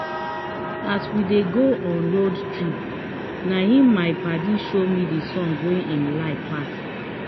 as we dey go on road trip na him my padi show me the song wey him like pass